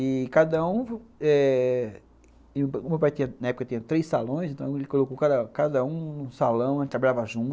E cada um eh, meu pai na época tinha três salões, então ele colocou cada cada um no salão, a gente trabalhava junto.